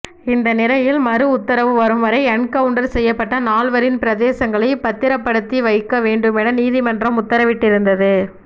இந்த நிலையில் மறு உத்தரவு வரும்வரை என்கவுண்டர் செய்யப்பட்ட நால்வரின் பிரேதங்களை பத்திரப்படுத்தி வைக்க வேண்டுமென நீதிமன்றம் உத்தரவிட்டிருந்தது